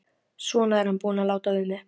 Svona er hann búinn að láta við mig.